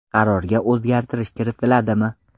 Qarorga o‘zgartirish kiritiladimi?